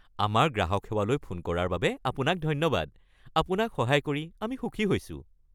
আমাৰ গ্ৰাহক সেৱালৈ ফোন কৰাৰ বাবে আপোনাক ধন্যবাদ। আপোনাক সহায় কৰি আমি সুখী হৈছোঁ।